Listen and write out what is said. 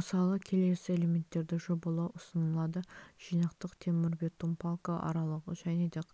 мысалы келесі элементтерді жобалау ұсынылады жинақтық темірбетон балка аралығы және де